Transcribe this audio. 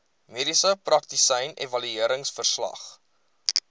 mediese praktisyn evalueringsverslag